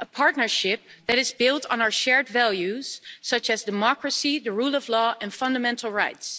a partnership that is built on our shared values such as democracy, the rule of law and fundamental rights.